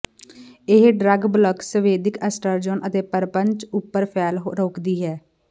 ਇਹ drug block ਸੰਵੇਦਕ oestrogen ਅਤੇ ਪਰਪੰਚ ਉਪਰ ਫੈਲ ਰੋਕਦੀ ਹੈ